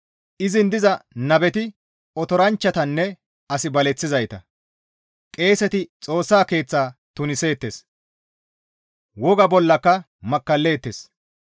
Izin diza nabeti otoranchchatanne as baleththizayta. Qeeseti Xoossa Keeththa tuniseettes; woga bollaka makkalleettes.